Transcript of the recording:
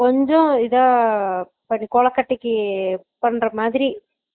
கொஞ்சம் இதா கொலக்கட்டைக்கு பண்ற மாதிரி